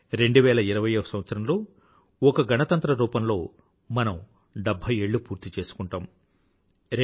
2020వ సంవత్సరంలో ఒక గణతంత్ర రూపంలో మనం డెభ్భై ఏళ్ళు పూర్తి చేసుకుంటాం